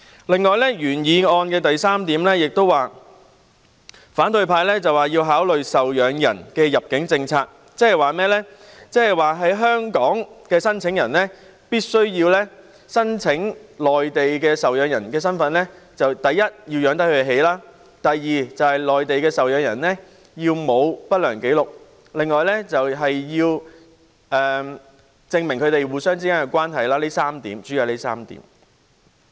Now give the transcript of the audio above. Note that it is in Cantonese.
此外，在原議案的第三部分，反對派要求制訂考慮受養人的入境政策，即是以身處香港的申請人身份申請內地受養人來港時，第一，可以負擔其生活；第二，內地受養人沒有不良紀錄；還要證明他們之間的關係，主要是以上3點。